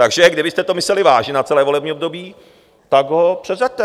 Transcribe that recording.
Takže kdybyste to mysleli vážně na celé volební období, tak ho předřaďte!